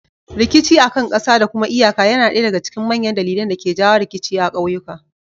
Rikicin akan ƙasa da kuma iyaka yana ɗaya daga cikin manyan dalilan da ke jawo rikici a ƙauyuka.